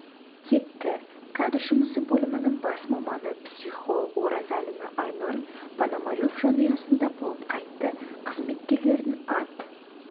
кетті кадр жұмысы бөлімінің бас маманы психолог оразалина айнұр пономарев жанұясында болып қайтты қызметкерлердің ат